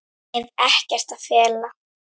Hef ekkert að fela.